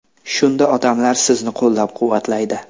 Shunda odamlar sizni qo‘llab-quvvatlaydi.